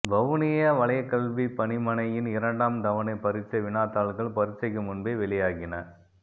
வவுனியா வலயக்கல்விப் பணிமனையின் இரண்டாம் தவணை பரீட்சை வினாத்தாள்கள் பரீட்சைக்கு முன்பே வெளியாகின